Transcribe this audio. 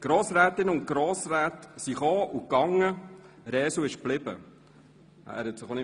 Grossrätinnen und Grossräte kamen und gingen, Andreas Blatter, Resu, blieb.